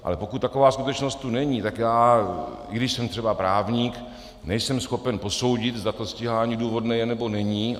Ale pokud taková skutečnost tu není, tak já, i když jsem třeba právník, nejsem schopen posoudit, zda to stíhání důvodné je, nebo není.